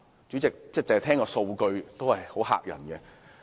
主席，單聽數據，已很嚇人。